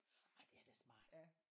Og det er da smart